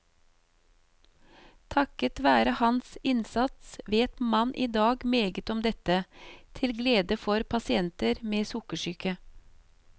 Takket være hans innsats vet man i dag meget om dette, til glede for pasienter med sukkersyke.